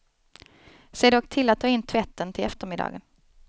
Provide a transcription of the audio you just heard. Se dock till att ta in tvätten till eftermiddagen.